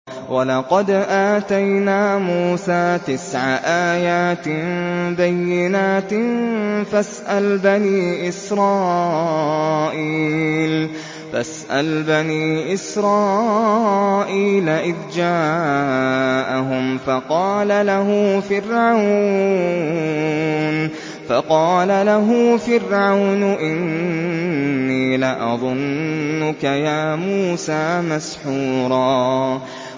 وَلَقَدْ آتَيْنَا مُوسَىٰ تِسْعَ آيَاتٍ بَيِّنَاتٍ ۖ فَاسْأَلْ بَنِي إِسْرَائِيلَ إِذْ جَاءَهُمْ فَقَالَ لَهُ فِرْعَوْنُ إِنِّي لَأَظُنُّكَ يَا مُوسَىٰ مَسْحُورًا